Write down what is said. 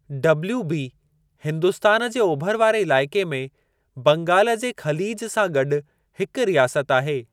WB Hindustan जे ओभर वारे इलाइक़े में बंगालु जे ख़लीज सां गॾु हिकु रियासत आहे।